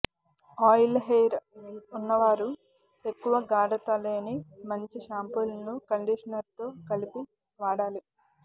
్జ oil hair ఉన్నవారు ఎక్కువ గాఢత లేని మంచి షాంపూలను కండిషనర్తో కలిపి వాడాలి